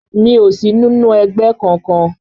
Mi ò sí nínú ẹgbẹ́ kọkan